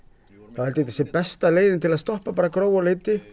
er þetta besta leiðin til að stoppa Gróu á Leiti